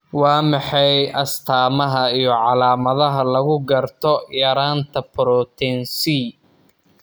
Waa maxay calaamadaha iyo calaamadaha lagu garto yaraanta Protein C?